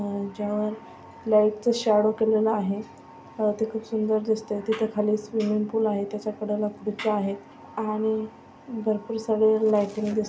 अह ह्याज्यावर लाइटचा शॅडो केलेला आहे व ते खुप सुंदर दिसतय. त्याच्या खाली स्विमिंग पूल आहे. त्याच्या कडेला फुगा आहे आणि भरपूर सगळे लाइटिंग दिस --